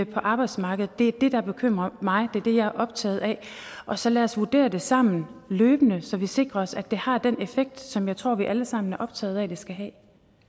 på arbejdsmarkedet det er det der bekymrer mig det er det jeg er optaget af og så lad os vurdere det sammen løbende så vi sikrer os at det har den effekt som jeg tror vi alle sammen er optaget af det skal have